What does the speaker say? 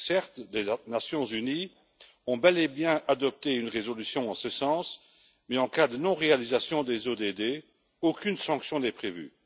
Certes, les Nations unies ont bel et bien adopté une résolution en ce sens, mais en cas de non réalisation des ODD, aucune sanction n'est prévue.